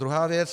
Druhá věc.